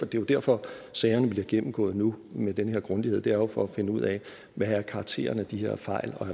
jo derfor sagerne bliver gennemgået nu med den her grundighed det er jo for at finde ud af hvad karakteren af de her fejl